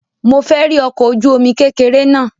Mo fẹ́ rí ọkọ̀ ojú-omi kékeré náà